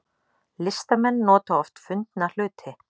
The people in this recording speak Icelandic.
Listamenn nota oft fundna hluti